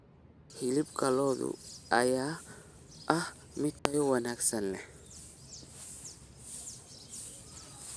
Hilibka lo'da ayaa ah mid tayo wanaagsan leh.